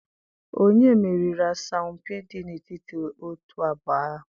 onye meriri asọmpi dị n'etiti otu abụọ ahụ?